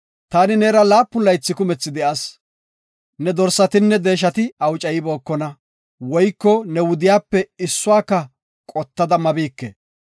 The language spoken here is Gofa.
“Taani neera laatamu laythi kumethi de7as. Ne dorsatinne deeshati awucaybokona woyko ne wudiyape issuwaka qottada mabike.